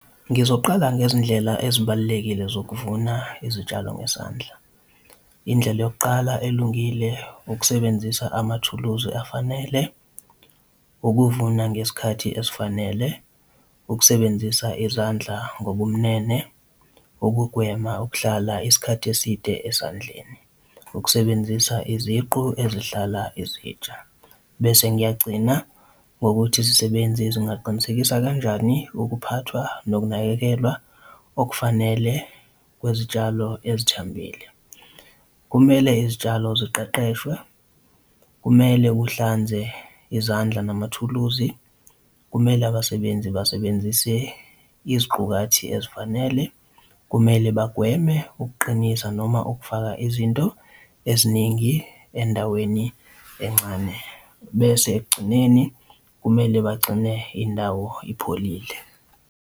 Ngizoqala ngezindlela ezibalulekile sokuvuna izitshalo ngezandla. Indlela yokuqala elungile ukusebenzisa amathuluzi afanele, ukuvuna ngesikhathi esifanele, ukusebenzisa izandla ngobumnene, ukugwema ukuhlala isikhathi eside esandleni, ukusebenzisa iziqu ezihlala izitsha, bese ngiyagcina ngokuthi izisebenzi zingaqinisekisa kanjani ukuphathwa nokunakekelwa okufanele kwezitshalo ezithambile. Kumele izitshalo ziqeqeshwe, kumele uhlanze izandla namathuluzi, kumele abasebenzi basebenzise iziqukathi ezifanele, kumele bagweme ukuqinisa noma ukufaka izinto eziningi endaweni encane, bese ekugcineni kumele bagcine indawo ipholile.